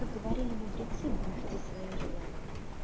как говорили мудрецы бойтесь своих желаний